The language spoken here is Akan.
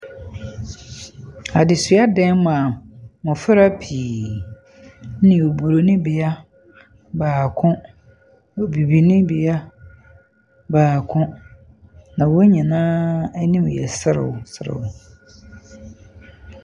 Adesua dan mu a mmɔfra pii ne oburoni bea baako ne obibini bea baako, na wɔn nyinaa anim yɛ serew serew.